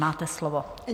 Máte slovo.